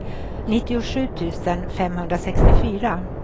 nittiosju tusen femhundrasextiofyra